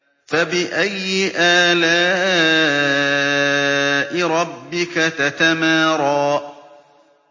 فَبِأَيِّ آلَاءِ رَبِّكَ تَتَمَارَىٰ